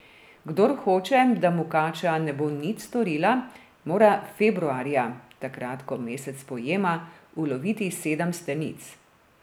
Kdor hoče, da mu kača ne bo nič storila, mora februarja, takrat ko mesec pojema, uloviti sedem stenic.